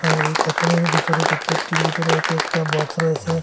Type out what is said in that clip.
এখানে এই কাটোনের ভিতরে প্রত্যেকটির ভিতরে এক একটা বক্স রয়েসে।